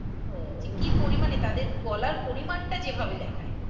কি পরিমাণে তাদের বলার পরিমাণ টা যেভাবে দেখায়